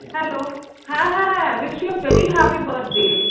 hello হ্যাঁ হ্যাঁ wish you very happy birthday